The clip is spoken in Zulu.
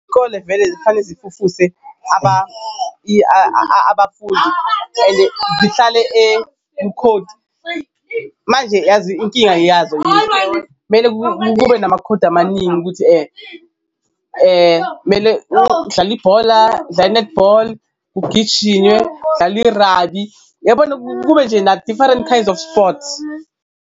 Iy'kole vele zifane zifufuse abafundi and zihlale kukhodi manje yazi inkinga yazo mele kube namakhodi amaningi ukuthi kumele udlale ibhola, udlale i-netball, kugijinywe, kudlalwe irabi, uyabona kube nje na-different kinds of sports.